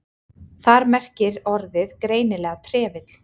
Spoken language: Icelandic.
Þar merkir orðið greinilega trefill.